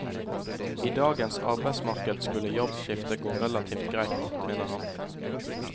I dagens arbeidsmarked skulle jobbskifte gå relativt greit, mener han.